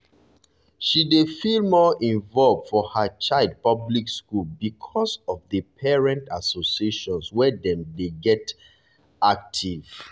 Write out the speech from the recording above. she dey feel more involve for her child public school because of the parent associations wey dem get dey active